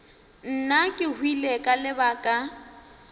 nna ke hwile ka lebaka